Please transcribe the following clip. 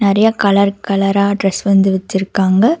நெறைய கலர் கலரா ட்ரெஸ் வந்து வச்சுருக்காங்க.